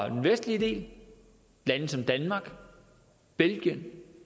vestlige lande som danmark belgien